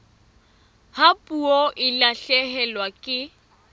ha puo e lahlehelwa ke